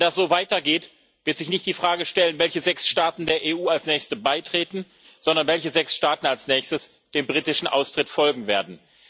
Wenn das so weitergeht, wird sich nicht die Frage stellen, welche sechs Staaten der EU als nächste beitreten, sondern welche sechs Staaten als nächstes dem britischen Austritt folgen werden.